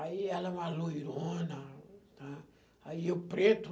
Aí ela é uma loirona, né, aí eu preto...